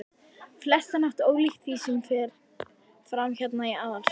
flestan hátt ólíkt því, sem fer fram hérna í aðalstöðvunum.